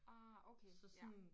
Ah okay ja